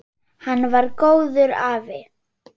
Hann var góður afi.